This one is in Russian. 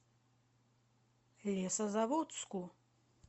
лесозаводску